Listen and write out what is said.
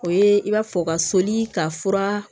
O ye i b'a fɔ u ka soli ka fura